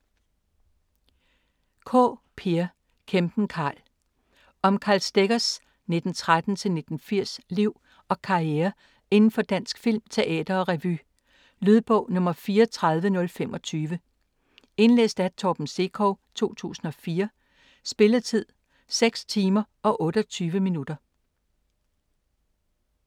Kaae, Peer: Kæmpen Karl Om Karl Steggers (1913-1980) liv og karriere inden for dansk film, teater og revy. Lydbog 34025 Indlæst af Torben Sekov, 2004. Spilletid: 6 timer, 28 minutter.